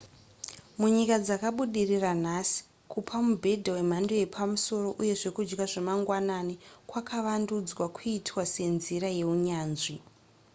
munyika dzakabudirira nhasi kupa mubhedha wemhando yepamusoro uye zvekudya zvemangwanani kwakavandudzwa kuitwa senzira yeunyanzvi